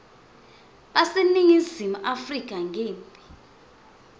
baseningizimu afrika ngembi